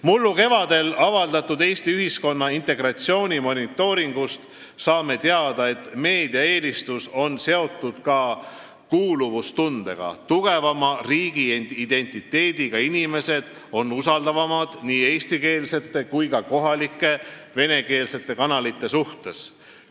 Mullu kevadel avaldatud Eesti ühiskonna integratsiooni monitooringust saame teada, et meedia eelistus on seotud ka kuuluvustundega: tugevama riigiidentiteediga inimesed on usaldavamad nii eestikeelsete kui ka kohalike venekeelsete kanalite suhtes.